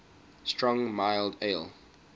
strong mild ales